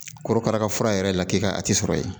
Korokara ka fura yɛrɛ la k'i ka a tɛ sɔrɔ yen